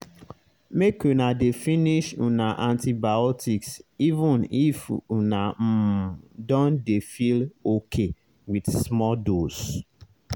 make una dey finish una antibiotics even if una um don dey feel okay with small dose.